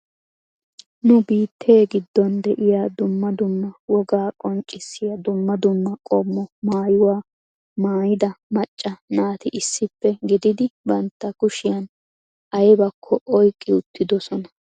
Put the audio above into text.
Nu biittee giddon de'iyaa dumma dumma woga qonccissiyaa dumma dumma qommo maayyuwaa maayyida macca naati issippe gididi bantta kushiyaan aybbakko oyqqi uttidoosona.